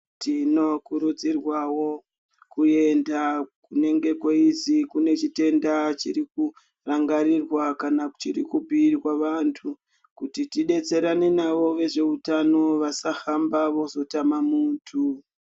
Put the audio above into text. Tinokurudzurwawo kuenda kunenge kweizi kunechitenda chirikurangarirwa kana chirikubhiirwa vantu, kuti tidetserane navo vezveutano vasahamba vozotama muntu.